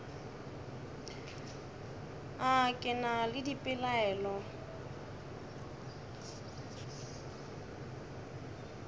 a ke na le dipelaelo